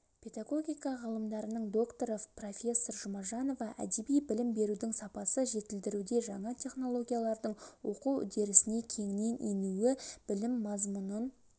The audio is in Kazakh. педагогика ғылымдарының докторы профессор жұмажанова әдеби білім берудің сапасы жетілдіруде жаңа технологиялардың оқу үрдісіне кеңінен енуі білім мазмұнын